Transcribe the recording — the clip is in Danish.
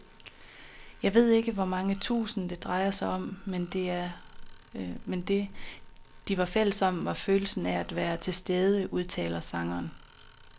Jeg ved ikke hvor mange tusind, det drejede sig om, men det, de var fælles om, var følelsen af at være tilstede, udtaler sangeren.